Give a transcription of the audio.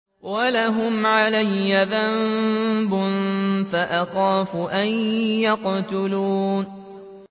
وَلَهُمْ عَلَيَّ ذَنبٌ فَأَخَافُ أَن يَقْتُلُونِ